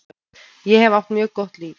Ég hef átt mjög gott líf.